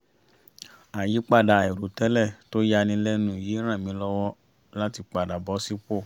àyípadà àìrò tẹ́lẹ̀ tó ya ni lẹ́nu yìí ràn mí lọ́wọ́ láti padà bọ́ sípò